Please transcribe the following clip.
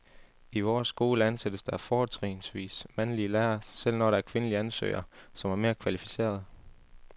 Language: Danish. I vores skole ansættes der fortrinsvis mandlige lærere, selv når der er kvindelige ansøgere, som er mere kvalificerede.